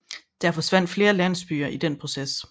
Der forsvandt flere landsbyer i den proces